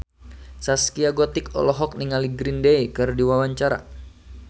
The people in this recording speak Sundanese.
Zaskia Gotik olohok ningali Green Day keur diwawancara